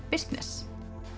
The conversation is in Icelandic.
bisness